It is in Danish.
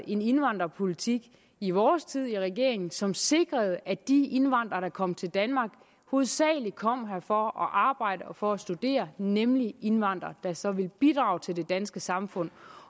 en indvandrerpolitik i vores tid i regering som sikrede at de indvandrere der kom til danmark hovedsagelig kom her for at arbejde og for at studere nemlig indvandrere der så ville bidrage til det danske samfund